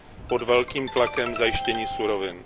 pod velkým tlakem zajištění surovin.